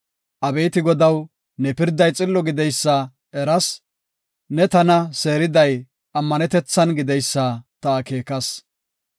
Abeeti Godaw, ne pirday xillo gideysa eras; ne tana seeriday ammanetethan gideysa ta akeekas.